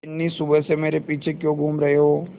बिन्नी सुबह से मेरे पीछे क्यों घूम रहे हो